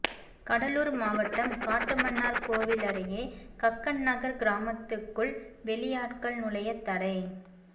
கடலூர் மாவட்டம் காட்டுமன்னார்கோவில் அருகே கக்கன்நகர் கிராமத்துக்குள் வெளியாட்கள் நுழைய தடை